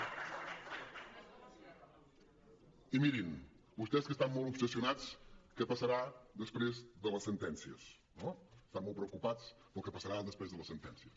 i mirin vostès que estan molt obsessionats amb què passarà després de les sentències no estan molt preocupats pel que passarà després de les sentències